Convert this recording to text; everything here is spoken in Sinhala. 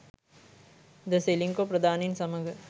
ද සෙලින්කෝ ප්‍රධානින් සමග